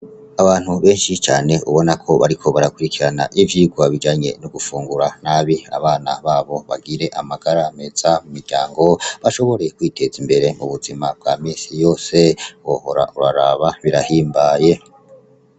Abantu benshi cane ubona ko bariko barakurikirana ivyirwa bijanye no gufungura nabi, abana babo bagire amagara meza mu muryango bashobore kwiteza imbere mubuzima bwa misi yose wohora uraraba birahimbaye.